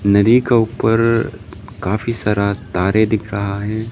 नदी का ऊपर काफी सारा तारे दिख रहा है।